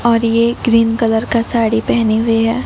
और ये green colour का साड़ी पहने हुए हैं।